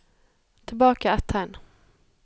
Tilbake ett tegn